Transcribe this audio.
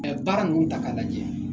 Ɛɛ baara ninnu ta k'a lajɛ